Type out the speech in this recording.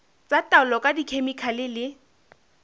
tsa taolo ka dikhemikhale le